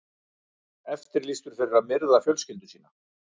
Eftirlýstur fyrir að myrða fjölskyldu sína